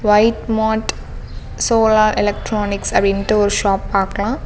White mart solar electronics அப்படின்டு ஒரு shop பாக்கலாம்.